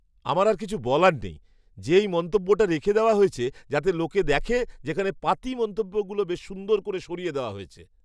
আমার আর কিছু বলার নেই যে এই মন্তব্যটা রেখে দেওয়া হয়েছে যাতে লোকে দেখে, যেখানে পাতি মন্তব্যগুলো বেশ সুন্দর করে সরিয়ে দেওয়া হয়েছে।